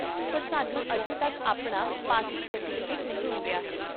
ਪਰ ਸਾਨੂੰ ਅਜੇ ਤੱਕ ਆਪਣਾ ਪਾਸਿੰਗ ਸਰਟੀਫਿਕੇਟ ਨਹੀਂ ਮਿਲਿਆ ਹੈ